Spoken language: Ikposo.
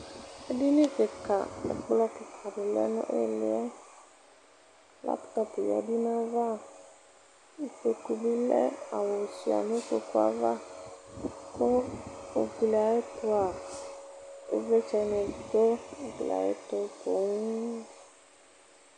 edini keka ɛkplɔ keka di lɛ no iliɛ laptɔp ya du n'ava ikpoku bi lɛ awu sua no ikpokue ava kò ugli ayi ɛto a ivlitsɛ ni du ugli ayi ɛto poŋ.